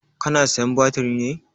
Ka na sayan batiri ne?